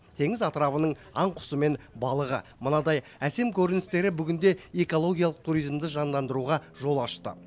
теңіз атырабының аң құсы мен балығы мынадай әсем көріністері бүгінде экологиялық туризмді жандандыруға жол ашты